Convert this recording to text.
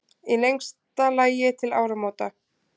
Í lengsta lagi til áramóta.